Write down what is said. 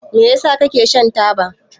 Me yasa kake shan taba?